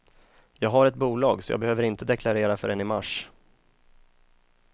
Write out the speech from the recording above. Jag har ett bolag, så jag behöver inte deklarera förrän i mars.